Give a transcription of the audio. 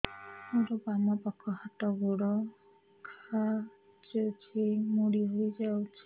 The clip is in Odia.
ମୋର ବାମ ପାଖ ହାତ ଗୋଡ ଖାଁଚୁଛି ମୁଡି ହେଇ ଯାଉଛି